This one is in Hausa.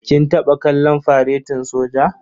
Kin taɓa kallon faretin soja?